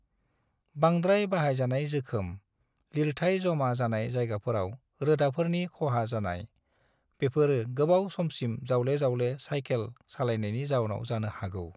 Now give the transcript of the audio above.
बांद्राय बाहायजानाय जोखोम, लिरथाय जमा जानाय जायगाफोराव रोदाफोरनि खहा जानाय, बेफोर गोबाव समसिम जावले-जावले सायखेल सालायनायनि जाउनाव जानो हागौ।